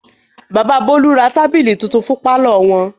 Bàbà Bólú ra tábìlì tuntun fún pálọ̀ wọn.